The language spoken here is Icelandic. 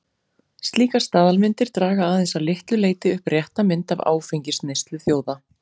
Slíkar staðalmyndir draga aðeins að litlu leyti upp rétta mynd af áfengisneyslu þjóða.